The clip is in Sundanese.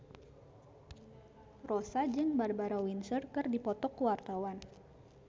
Rossa jeung Barbara Windsor keur dipoto ku wartawan